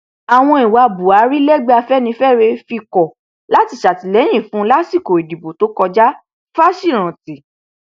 àwọn ìwà buhari lẹgbẹ afẹnifẹre fi kọ láti ṣàtìlẹyìn fún un lásìkò ìdìbò tó kọjá fásirántí